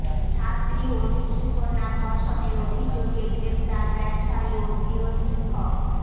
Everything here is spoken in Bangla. ছাত্রী ও শিশুকন্যা ধর্ষনের অভিযোগে গ্রেফতার ব্যাবসায়ী ও গৃহশিক্ষক